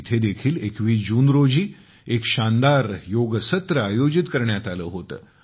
तेथे देखील 21जून रोजी एक शानदार योग सत्र आयोजित करण्यात आले होते